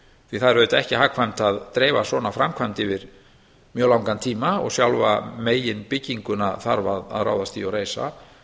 því það er auðvitað ekki hagkvæmt að dreifa svona framkvæmd yfir mjög langan tíma og sjálfa megin bygginguna þarf að ráðast í og reisa